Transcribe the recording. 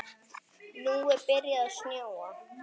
Nú er byrjað að snjóa.